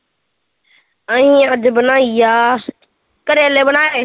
ਅਸੀਂ ਅੱਜ ਬਣਾਈ ਆ ਕਰੇਲੇ ਬਣਾਏ